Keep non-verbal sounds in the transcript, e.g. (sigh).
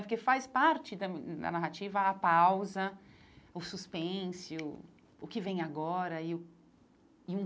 Porque faz parte da (unintelligible) da narrativa a pausa, o suspense, o o que vem agora e o e um.